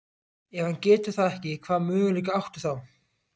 Ef hann getur það ekki, hvaða möguleika áttu þá?